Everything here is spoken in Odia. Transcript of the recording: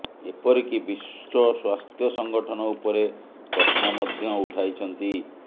ଏପରିକି ବିଶ୍ୱ ସ୍ୱାସ୍ଥ୍ୟ ସଙ୍ଗଠନ ଉପରେ ପ୍ରଶ୍ନ ମଧ୍ୟ ଉଠାଇଛନ୍ତି